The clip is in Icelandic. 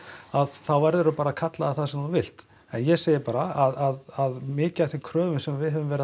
að þá verður þú bara að kalla það það sem þú vilt en ég segi bara að mikið af þeim kröfum sem við höfum verið að